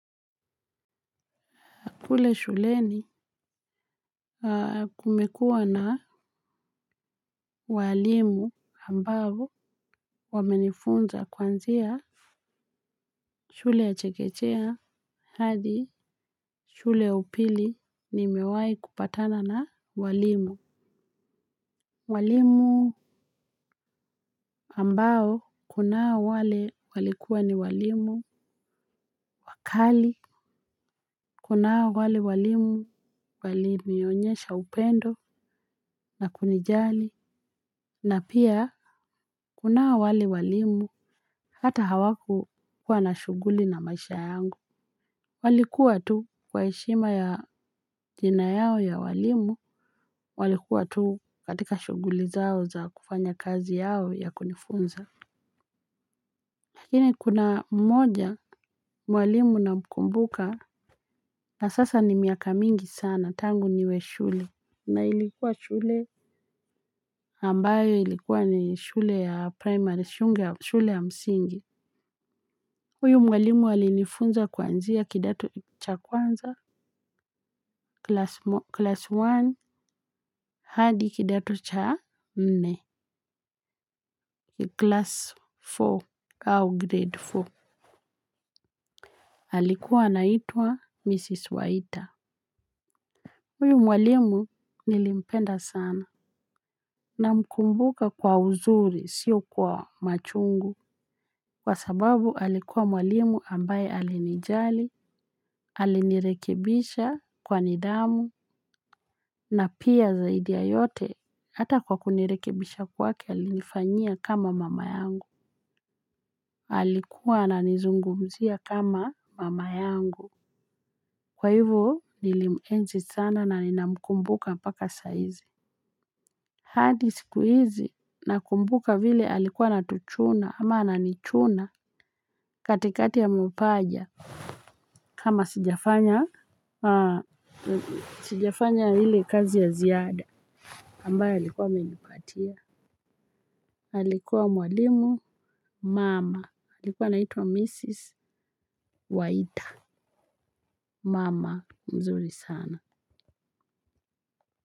Kule shuleni kumekua na walimu ambao wamenifunza kuanzia shule ya chekechea hadi shule ya upili ni mewai kupatana na walimu. Walimu ambao kunao wale walikua ni walimu wakali kunao wale walimu walinionyesha upendo na kunijali. Na pia, kunai wale walimu, hata hawaku kuwa na shuguli na maisha yangu. Walikuwa tu kwa heshima ya jina yao ya walimu, walikuwa tu katika shuguli zao za kufanya kazi yao ya kunifunza. Lakini, kuna mmoja, walimu na mkumbuka, na sasa ni miaka mingi sana, tangu niwe shule. Na ilikuwa shule ambayo ilikuwa ni shule ya primary shule ya msingi. Uyu mwalimu alinifunza kuanzia kidato cha kwanza, class one, hadi kidato cha nne, class four au grade four. Alikuwa naitwa Mrs. Waita. Uyu mwalimu nilimpenda sana. Na mkumbuka kwa uzuri, sio kwa machungu. Kwa sababu alikuwa mwalimu ambaye alinijali, alinirekebisha kwa nidhamu. Na pia zaidi ya yote hata kwa kunirekebisha kwake alifanyia kama mama yangu. Alikuwa na nizungumzia kama mama yangu. Kwa hivo nilimuenzi sana na nina mkumbuka mpaka saizi. Hadi sikuizi na kumbuka vile alikuwa na tuchuna ama ana nichuna katikati ya mapaja. Kama sijafanya hile kazi ya ziada. Ambayo alikuwa amenipatia. Alikuwa mwalimu mama. Alikuwa naitwa Mrs. Waita. Mama. Mzuri sana.